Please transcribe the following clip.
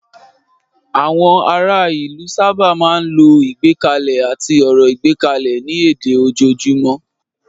Àwọn ará ìlú sábà máa ń lo ìgbékalẹ̀ àti ọ̀rọ̀ ìgbékalẹ̀ ní èdè ojoojúmọ́.